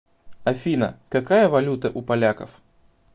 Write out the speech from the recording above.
афина какая валюта у поляков